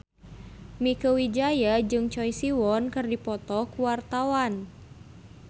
Mieke Wijaya jeung Choi Siwon keur dipoto ku wartawan